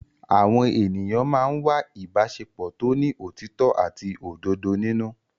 Àwọn ènìyàn máa ń wá ìbáṣepọ̀ tó ní òtítọ́ àti òdodo nínú.